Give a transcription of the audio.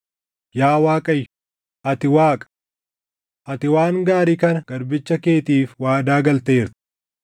Yaa Waaqayyo, ati Waaqa! Ati waan gaarii kana garbicha keetiif waadaa galteerta.